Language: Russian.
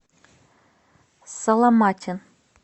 саломатин